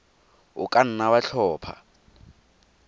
o ka nna wa tlhopha